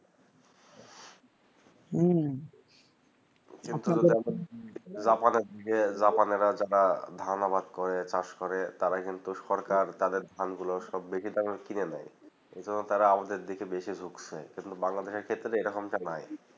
রাফা রাফেজা তারা ধান আবাদ করে চাষ করে তারা কিন্তু সরকার তাদের ধান গুলো সব বেশি দামে কিনে নাই ওই জন্য তারা আবাদ আর দেকিয়ে বেশি ঝুঁকছে কিন্তু বাংলাদেশ দিকে এই রকম তা নাই